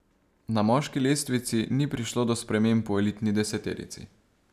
Na moški lestvici ni prišlo do sprememb v elitni deseterici.